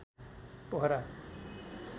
Pokhara